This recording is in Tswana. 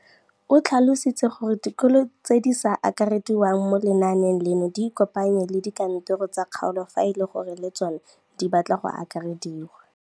O tlhalositse gore dikolo tse di sa akarediwang mo lenaaneng leno di ikopanye le dikantoro tsa kgaolo fa e le gore le tsona di batla go akarediwa.